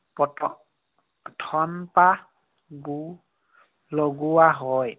থম্পা লগোৱা হয়।